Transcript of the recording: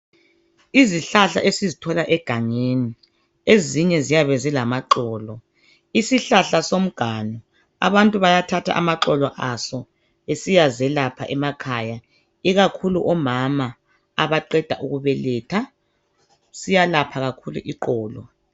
Izihlahla esizithola egangeni ezinye ziyabe zilamaxolo. Isihlahla somganu abantu bayathatha amaxolo aso besiyazelapha emakhaya ikakhulu omama abaqeda ukubeletha siyalapha kakhulu iqolo.